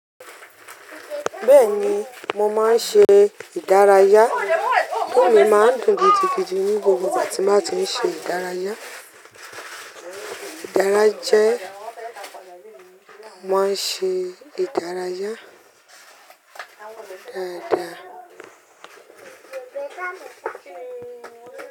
Bẹ́ẹ̀ni mo máa ń ṣe ìdárayá. Inú mi máa ń dùn gidigidi ní gbogbo ìgbà tí n bà tí ń ṣe ìdárayá. Ìdárayá jẹ́, mo máa ń ṣe ìdárayá dáadáa.